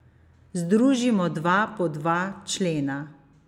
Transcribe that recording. Združimo dva po dva člena.